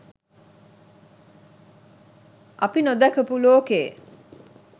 අපි නොදැකපු ලෝකේ